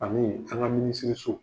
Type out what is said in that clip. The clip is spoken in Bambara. Ani an ka minisiriso.